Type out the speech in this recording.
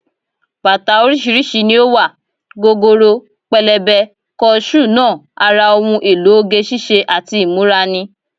Bàtà oríṣiríṣi ni ó wà, gogoro, pẹlẹbẹ, kọ ṣúù náà ara ohun èlò oge ṣíṣe àti ìmúra ni